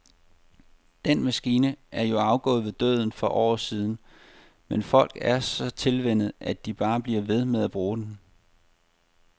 Den maskine er jo afgået ved døden for år siden, men folk er så tilvænnet, at de bare bliver ved med at bruge den.